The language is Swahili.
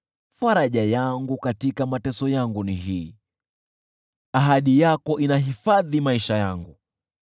Faraja yangu katika mateso yangu ni hii: Ahadi yako inahifadhi maisha yangu.